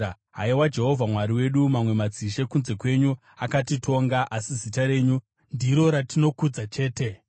Haiwa Jehovha Mwari wedu, mamwe madzishe kunze kwenyu akatitonga, asi zita renyu ndiro ratinokudza chete.